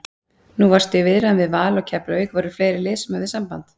Nú varstu í viðræðum við Val og Keflavík, voru fleiri lið sem höfðu samband?